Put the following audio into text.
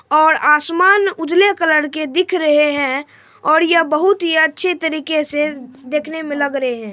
और आसमान उजले कलर के दिख रहे है और ये बहुत ही अच्छे तरीके से देखने मे लग रहे है।